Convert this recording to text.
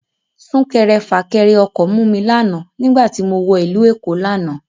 Sún kẹrẹ fà kẹrẹ ọkọ̀ mú mi lánàá nígbà tí mo wọ ìlú Èkó lánàá